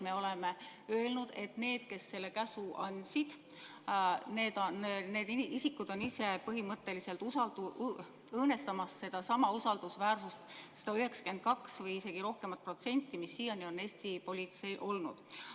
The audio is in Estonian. Me oleme öelnud, et need, kes selle käsu andsid, need isikud on ise põhimõtteliselt õõnestanud seda usaldusväärsust, seda 92 või isegi rohkemat protsenti, mis siiani on Eesti politsei toetust iseloomustanud.